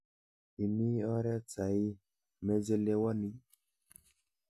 Ami oret saii, machelewani.